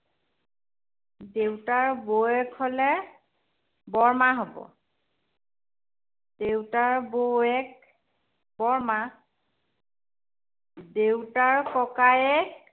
দেউতাৰ বৌয়েক হ'লে, বৰমা হ'ব। দেউতাৰ বৌয়েক, বৰমা। দেউতাৰ ককায়েক